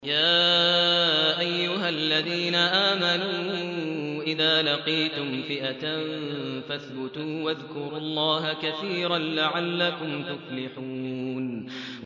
يَا أَيُّهَا الَّذِينَ آمَنُوا إِذَا لَقِيتُمْ فِئَةً فَاثْبُتُوا وَاذْكُرُوا اللَّهَ كَثِيرًا لَّعَلَّكُمْ تُفْلِحُونَ